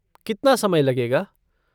कितना समय लगेगा?